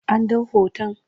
An ɗau hoton?